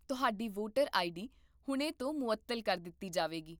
ਤੁਹਾਡੀ voter ID ਹੁਣੇ ਤੋਂ ਮੁਅੱਤਲ ਕਰ ਦਿੱਤੀ ਜਾਵੇਗੀ